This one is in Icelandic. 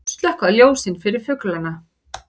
Slökkva ljósin fyrir fuglana